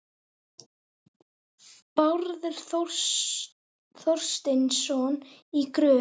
Bárður Þorsteinsson í Gröf.